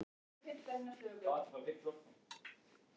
Stöku sinnum er gasið sjálft hins vegar nýtanlegt.